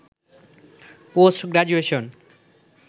post graduation